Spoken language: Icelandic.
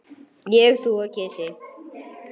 Ég, þú og kisi.